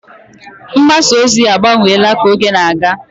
Mgbasa ozi agbanweela ka oge na-aga.